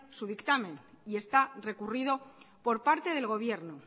su dictamen y está recurrido por parte del gobierno